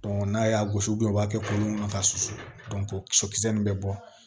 n'a y'a gosi u b'a kɛ k'olu ka susu bɛ bɔ